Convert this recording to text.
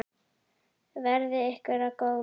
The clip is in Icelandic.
Verði ykkur að góðu.